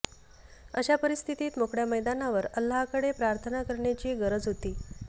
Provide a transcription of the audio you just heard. अशा परिस्थितीत मोकळ्या मैदानावर अल्लाहकडे प्रार्थना करण्याची गरज होती